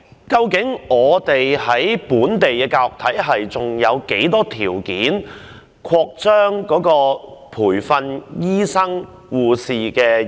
究竟本地的教育體系，還有沒有條件擴張培訓醫生和護士呢？